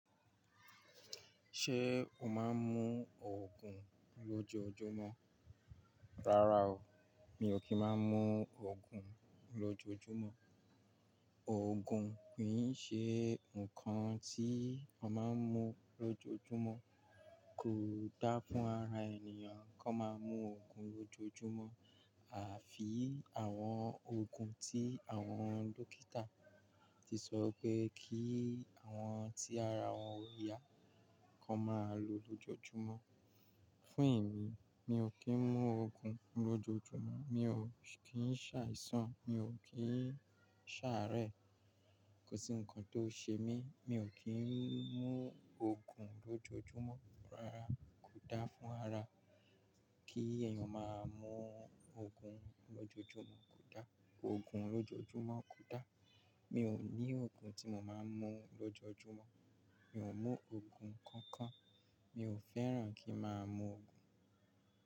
Ṣé o máa ń mú òògùn lójoójúmọ́? Rárá o, mi ò kí ń máa ń mú òògùn lójoójúmọ́. Òògùn kì í ṣe nǹkan tí a máa ń mú lójoójúmọ́. Kò da fún ara ènìyàn kí wọ́n máa mú òògùn lójoójúmọ́. A fi àwọn òògùn tí àwọn dókítà ti sọ pé kí àwọn tí ara wọn ko yà kí wọ́n máa lo lójoójúmọ́. Fún ìmi, mi ò kí ń mú òògùn lójoójúmọ́. Mi ò kí ń ṣàìsàn, mi ò kí ń ṣàárẹ̀, kò sí ǹkan tó ṣe mí, mi ò kí ń mú òògùn lójoójúmọ́. Rárá, kò da fún ara kí èèyàn máa mú òògùn lójoójúmọ́. Kò da, òògùn lójoójúmọ́ kò da. Mi ò ní òògùn tí mo máa ń mú lójoójúmọ́. Mi ò mú òògùn kankan. Mi ò fẹ́ràn kí a máa mú òògùn.